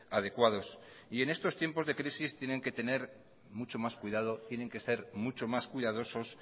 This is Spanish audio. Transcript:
adecuados en estos tiempos de crisis tienen que tener mucho más cuidado tienen que ser mucho más cuidadosos